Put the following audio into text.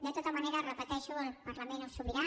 de tota manera ho repeteixo el parlament és sobirà